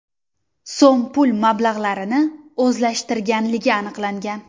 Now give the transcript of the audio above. so‘m pul mablag‘larini o‘zlashtirganligi aniqlangan.